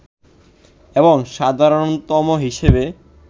এবং সাধারণতম হিসেবে